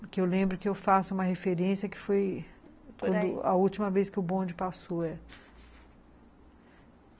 Porque eu lembro que eu faço uma referência que foi a última vez que o bonde passou.